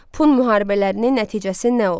Pun müharibələrinin nəticəsi nə oldu?